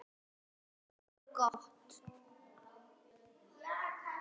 Allt er gott.